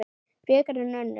Frekar en önnur.